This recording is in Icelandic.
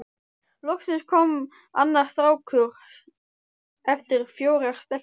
Loksins kom annar strákur eftir fjórar stelpur.